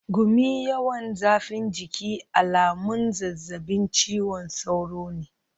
Gumi, yawan zafin jiki alamun zazzabin cizon sauro ne.